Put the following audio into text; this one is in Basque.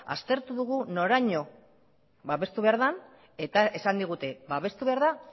aztertu dugu noraino babestu behar da eta esan digute babestu behar da